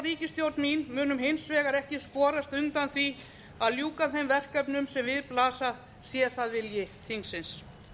ríkisstjórn mín munum hins vegar ekki skorast undan því að ljúka þeim verkefnum sem við blasa sé það vilji þingsins